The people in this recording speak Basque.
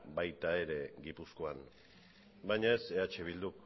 baita gipuzkoan ere baina eh bilduk